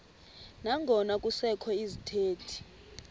nangona kusekho izithethi